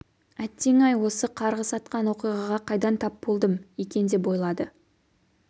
әттең-ай осы қарғыс атқан оқиғаға қайдан тап болдым екен деп ойлады